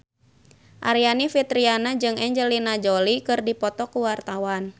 Aryani Fitriana jeung Angelina Jolie keur dipoto ku wartawan